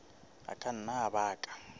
a ka nna a baka